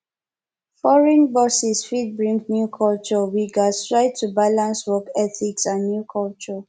foreign bosses fit bring new culture we gats try to balance work ethics and new culture